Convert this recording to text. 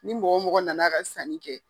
Ni mɔgɔ mɔgɔ nan'a ka sanni kɛ.